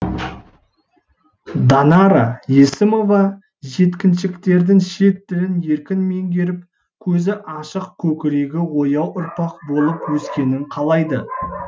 данара есімова жеткіншектердің шет тілін еркін меңгеріп көзі ашық көкірегі ояу ұрпақ болып өскенін қалайды